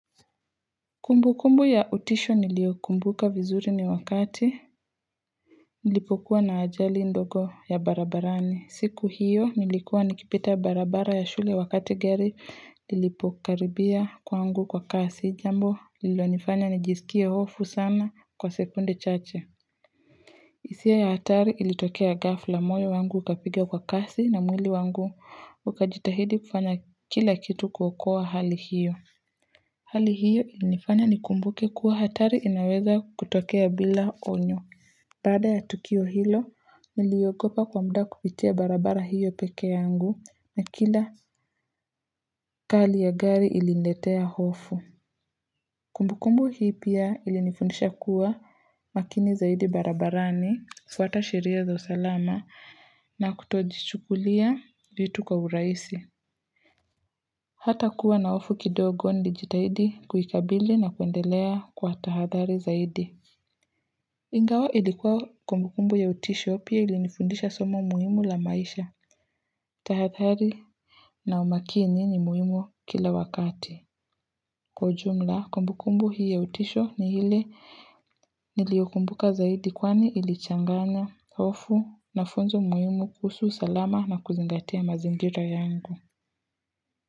Kumbu kumbu ya utisho niliyokumbuka vizuri ni wakati nilipokuwa na ajali ndogo ya barabarani, siku hiyo nilikuwa nikipita barabara ya shule wakati gari lilipokaribia kwangu kwa kasi jambo lilonifanya nijisikie hofu sana kwa sekunde chache hisia ya hatari ilitokea ghafla, moyo wangu ukapiga kwa kasi na mwili wangu ukajitahidi kufanya kila kitu kuokoa hali hiyo Hali hiyo ilinifanya nikumbuke kuwa hatari inaweza kutokea bila onyo. Baada ya tukio hilo, niliogopa kwa muda kupitia barabara hiyo peke yangu na kila kali ya gari iliniletea hofu. Kumbukumbu hii pia ilinifundisha kuwa makini zaidi barabarani, fuata sheria za usalama na kutojichukulia vitu kwa urahisi. Hata kuwa na hofu kidogo nilijitahidi kuikabili na kuendelea kwa tahathari zaidi. Ingawa ilikuwa kumbukumbu ya utisho pia ilinifundisha somo muhimu la maisha. Tahathari na umakini ni muhimu kila wakati. Kwa ujumla, kumbukumbu hii ya utisho ni ile niliyokumbuka zaidi kwani ilichanganya, hofu na funzo muhimu kuhusu usalama na kuzingatia mazingira yangu.